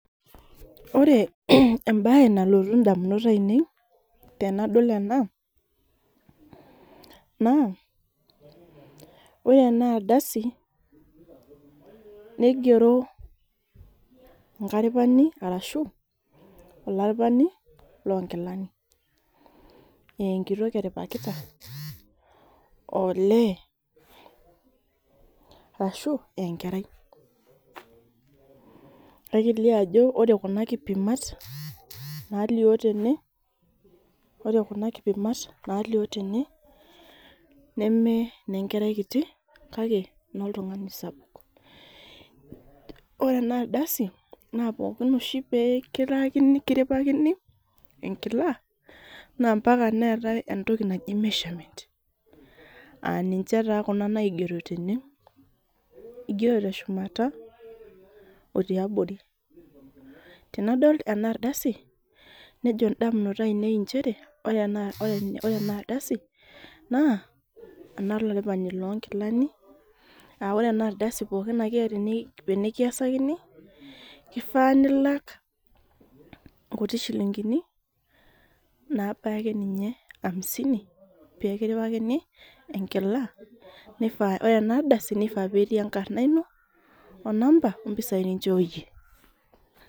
Ore ebae nalotu indamunot ainei, tenadol ena, naa ore enardasi, nigero enkaripani arashu olaripani lonkilani. Eenkitok eripakita, olee, arashu enkerai. Na kelio ajo ore kuna kipimat, nalio tene, ore kuna kipimat nalio tene, nemenenkerai kiti, kake inoltung'ani sapuk. Ore enardasi, na pookin oshi pekilaakini kiripakini enkila, nampaka neetae entoki naji measurement. Aninche taa kuna naigero tene, igero teshumata o tiabori. Tenadol enardasi, nejo indamunot ainei injere, ore enardasi, naa, enolaripani lonkilani, ah ore enardasi pookin akeeta enikiasakini, kifaa nilak nkuti shilinkini, nabaya akeninye amisini pekiripalini enkila, ore enardasi nifaa petii enkarna ino, onamba o mpisai ninchooyie.